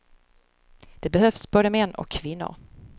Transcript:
Det behövs både män och kvinnor.